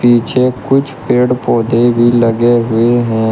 पीछे कुछ पेड़ पौधे भी लगे हुए हैं।